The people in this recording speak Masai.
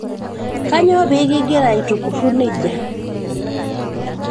kanyoo pee kingira aitukurru neija